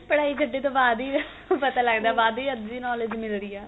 ਪੜ੍ਹਾਈ ਛਡੇ ਤੋਂ ਬਾਅਦ ਹੀ ਪਤਾ ਲੱਗਦਾ ਬਾਅਦ ਈ ਅੱਧੀ knowledge ਮਿਲਦੀ ਏ